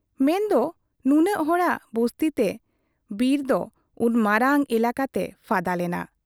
ᱢᱮᱱᱫᱚ ᱱᱩᱱᱟᱹᱜ ᱦᱚᱲᱟᱜ ᱵᱩᱥᱛᱤᱛᱮ ᱵᱤᱨᱫᱚ ᱩᱱ ᱢᱟᱨᱟᱝ ᱮᱞᱟᱠᱟᱛᱮ ᱯᱷᱟᱫᱟ ᱞᱮᱱᱟ ᱾